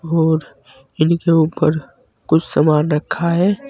और इनके ऊपर कुछ सामान रखा है।